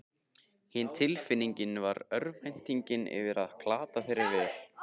Hin tilfinningin var örvæntingin yfir að glata þeirri vel